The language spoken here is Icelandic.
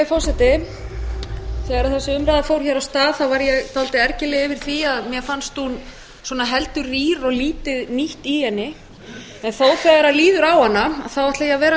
forseti þegar þessi umræða fór af stað þá var ég dálítið ergileg yfir því að mér fannst hún svona heldur rýr og lítið nýtt í henni en þó þegar líður á hana þá ætla ég að vera